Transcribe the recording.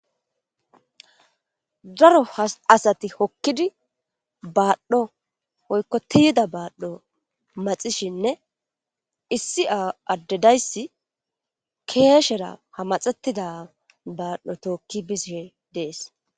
daro asati hokkidi baadhdho oykko tiyida baadhdho maxishinne issi addedayssi keeshera hamaxettida baadhdho tookki bisishe dees